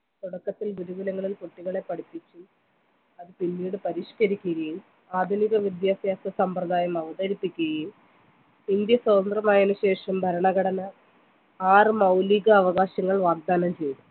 തുടക്കത്തിൽ ഗുരുകുലങ്ങളിൽ കുട്ടികളെ പഠിപ്പിച്ചു അത് പിന്നീട് പരിഷ്‌കരിക്കുകയും ആധുനിക വിദ്യാഭ്യാസ സമ്പ്രദായം അവതരപ്പിക്കുകയും ഇന്ത്യ സ്വന്തന്ത്രമായതിനു ശേഷം ഭരണഘടന ആറ് മൗലിക അവകാശങ്ങൾ വാഗ്‌ദാനം ചെയതു